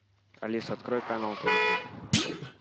алиса открой канал тв три